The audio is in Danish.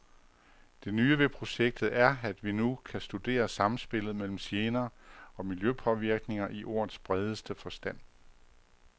Det nye ved projektet er, at vi nu kan studere samspillet mellem gener og miljøpåvirkninger i ordets bredeste forstand.